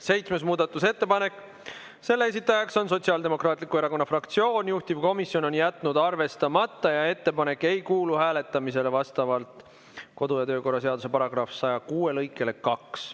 Seitsmes muudatusettepanek, selle esitaja on Sotsiaaldemokraatliku Erakonna fraktsioon, juhtivkomisjon on jätnud arvestamata ja ettepanek ei kuulu hääletamisele vastavalt kodu- ja töökorra seaduse § 106 lõikele 2.